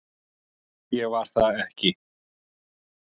Ég var það ekki